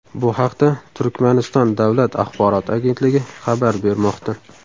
Bu haqda Turkmaniston davlat axborot agentligi xabar bermoqda .